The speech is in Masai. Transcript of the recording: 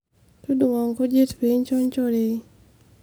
todung'o nkujit pee incho nchoorei